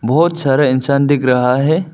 बहुत सारा इंसान दिख रहा है।